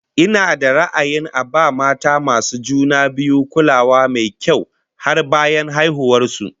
Ina da ra'ayin a ba mata masu juna biyu kulawa mai kyau har bayan haihuwar su